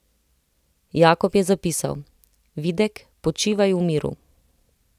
Jakob je zapisal: 'Videk, počivaj v miru.